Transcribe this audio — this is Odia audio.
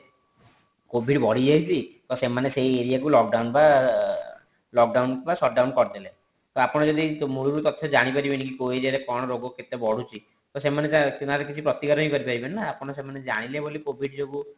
covid ବଢି ଯାଇଛି ତ ସେମାନେ ସେଇ area କୁ lockdown ବା lockdown ବା shutdown କରି ଦେଲେ ତ ଆପଣ ଯଦି ମୌଳିକ ତଥ୍ୟ ଜାଣି ପାରିବେନି କି କଉ area ରେ କି କଣ ରୋଗ କେତେ ବଢୁଛି ତ ସେମାନେ କିଛି ତାର ପ୍ରତିକାର ହିଁ କରିପରିବେନି ନା ସେମାନେ ଜାଣିଲେ ବୋଲି covid ଯୋଗୁ